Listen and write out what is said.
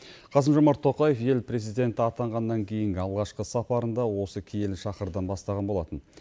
қасым жомарт тоқаев ел президенті атанғаннан кейінгі алғашқы сапарын да осы киелі шаһардан бастаған болатын